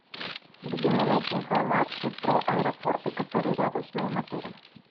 где мне найти информацию про аэропорты которые рядом с моим отелем